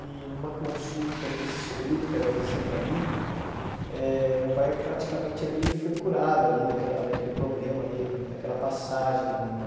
E numa consulta com esse seu Hilton, que era vizinho ali, eh meu pai praticamente ali foi curado ali daquela daquele problema ali, daquela passagem ali, né?